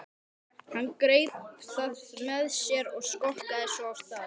Hann greip það með sér og skokkaði svo af stað.